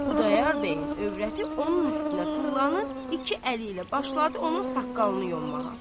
Xudayar bəyin övrəti onun üstünə tullanıb, iki əli ilə başladı onun saqqalını yommağa.